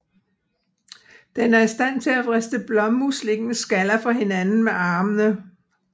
Den er i stand til at vriste blåmuslingens skaller fra hinanden med armene